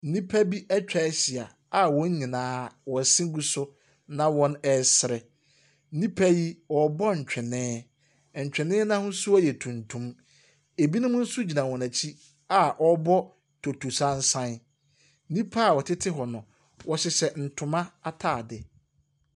Nnipa atwa ahyia a wɔn nyinaa wɔn se gu na wɔresere. Nnipa yi, wɔrebɔ ntwene, ntwene no ahosuo yɛ tuntum. Binom nso gyina wɔn akyi a wɔrebɔ totosansan. Nnipa a wɔtete hɔ no, wɔhyehyɛ ntoma ataade.